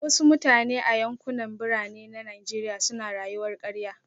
Wasu mutane a yankunan Birane na Najeriya suna rayuwar karya